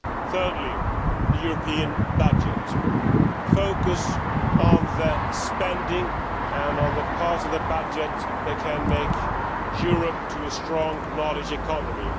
Thirdly, the European budget focus on the spending and the powers of the budget that can make Europe a strong knowledge economy.